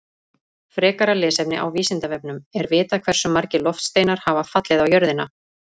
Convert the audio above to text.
Frekara lesefni á Vísindavefnum: Er vitað hversu margir loftsteinar hafa fallið á jörðina?